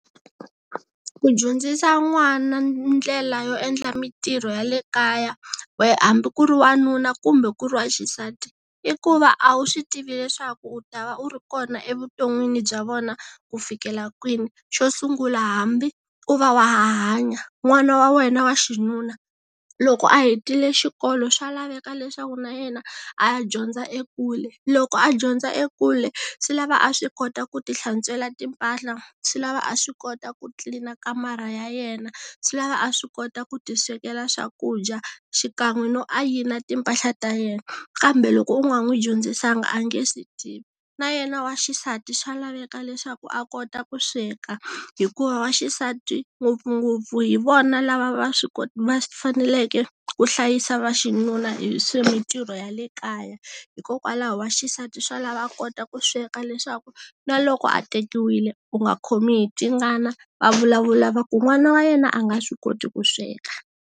Ku dyondzisa n'wana ndlela yo endla mintirho ya le kaya wa hambi ku ri wanuna kumbe ku ri waxisati i ku va a wu swi tivi leswaku u ta va u ri kona evuton'wini bya vona ku fikela kwini xo sungula hambi u va wa ha hanya n'wana wa wena wa xinuna loko a hetile xikolo swa laveka leswaku na yena a ya dyondza ekule loko a dyondza ekule swi lava a swi kota ku ti hlantswela timpahla, swi lava a swi kota ku tlilina kamara ya yena swi lava a swi kota ku ti swekela swakudya xikan'we no ayina timpahla ta yena kambe loko u nga n'wi dyondzisanga a nge swi tivi na yena wa xisati swa laveka leswaku a kota ku sweka hikuva wa xisati ngopfungopfu hi vona lava va swi va faneleke ku hlayisa va xinuna hi swa mintirho ya le kaya hikokwalaho wa xisati swa lava a kota ku sweka leswaku na loko a tekiwile u nga khomi hi tingana va vulavula va ku n'wana wa yena a nga swi koti ku sweka.